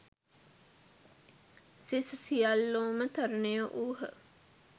සෙසු සියල්ලෝම තරුණයෝ වූහ.